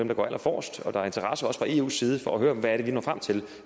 der går allerforrest og der er også fra eus side interesse for at høre om hvad vi når frem til